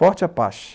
Forte Apache.